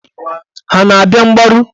Ha a na-abịa mgbaru?